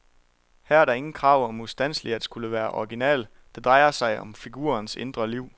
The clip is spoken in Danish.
Her er der ingen krav om ustandseligt at skulle være original, det drejer sig om figurernes indre liv.